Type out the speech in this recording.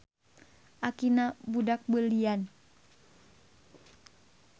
Akina budak beulian.